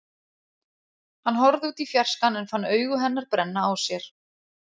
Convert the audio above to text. Hann horfði út í fjarskann en fann augu hennar brenna á sér.